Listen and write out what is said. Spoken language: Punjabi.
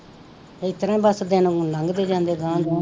ਇਸ ਤਰ੍ਹਾਂ ਹੀ ਬਸ ਦਿਨ ਹੁਣ ਲੰਘਦੇ ਜਾਂਦੇ ਅਗਾਂਹ ਅਗਾਂਹ